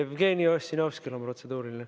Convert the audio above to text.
Jevgeni Ossinovskil on protseduuriline.